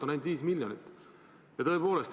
On ainult 5 miljonit.